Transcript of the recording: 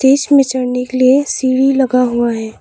इसमें चढ़ने के लिए सीढ़ी लगा हुआ है।